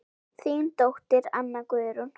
Þín dóttir, Anna Guðrún.